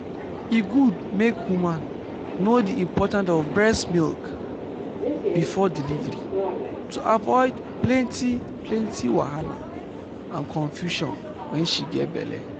e good make woman know the important of breast milk before delivery to avoid plenty plenty wahala and confusion wen she get belle